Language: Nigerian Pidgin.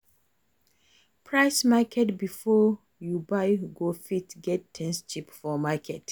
Price market before you buy to fit get things cheap for market